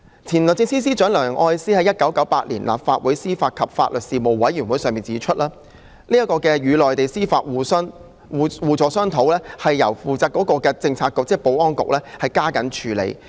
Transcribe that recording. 前律政司司長梁愛詩在1998年於立法會司法及法律事務委員會會議上指出，香港可與內地司法部門商討互助安排，由負責的政策局加緊處理。